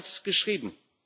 So stand es geschrieben.